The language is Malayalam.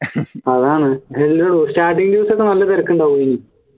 അതാണ് എല്ലടോ starting ൽ ഒക്കെ നല്ല തിരക്കുണ്ടാവോ ഇതിന്